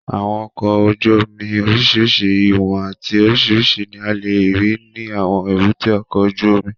Àwọn ọkọ̀ ojú omi oríṣiríṣi ìwọ̀n àti oríṣiríṣi ní a lè rí ní àwọn èbúté ọkọ̀ ojú omi